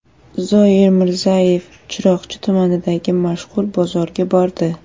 Zoir Mirzayev Chiroqchi tumanidagi mashhur bozorga bordi.